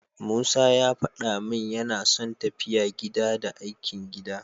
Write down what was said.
Musa ya faɗa min yana son tafiya gida, da aikin gida.